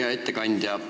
Hea ettekandja!